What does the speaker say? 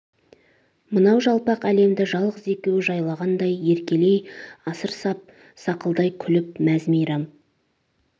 мынау жалпақ әлемді жалғыз екеуі жайлағандай еркелей асыр сап сақылдай күліп мәз-мәйрам